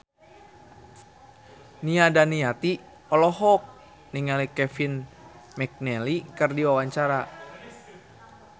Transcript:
Nia Daniati olohok ningali Kevin McNally keur diwawancara